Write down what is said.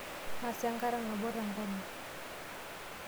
Nasa enkata nabo tenkolong.